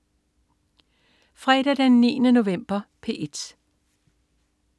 Fredag den 9. november - P1: